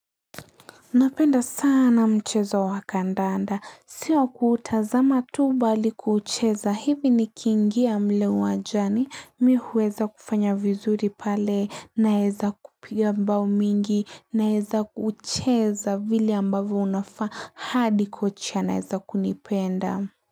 Napenda sana mchezo wakandanda. Sio kuutazama tu bali kuucheza. Hivi nikiingia mle uwanjani. Mi huweza kufanya vizuri pale. Naweza kupiga bao mingi. Naweza kuucheza vile ambavyo unafaa. Hadi kocha anaweza kunipenda.